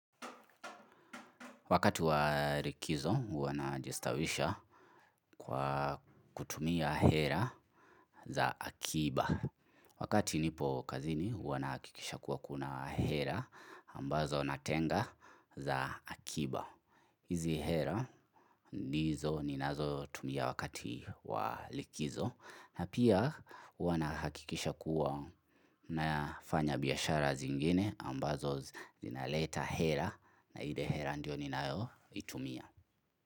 Wakati wa likizo huwa na jistawisha kwa kutumia hera za akiba. Wakati nipo kazini huwa na hakikisha kuwa kuna hera ambazo natenga za akiba. Hizi hera ndizo ninazo tumia wakati wa likizo na pia huwa na hakikisha kuwa na fanya biashara zingine ambazo zinaleta hela na ile hela ndio ninayo itumia.